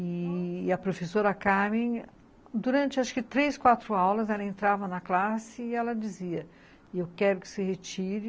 E a professora Carmen, durante acho que três, quatro aulas, ela entrava na classe e ela dizia, e eu quero que se retire.